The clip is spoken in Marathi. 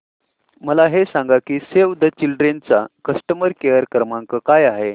मला हे सांग की सेव्ह द चिल्ड्रेन चा कस्टमर केअर क्रमांक काय आहे